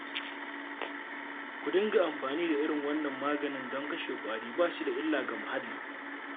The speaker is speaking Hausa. Ku dinga amfani da irin wannan maganin don kashe ƙwari ba shi da illa ga muhalli